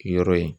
Yɔrɔ ye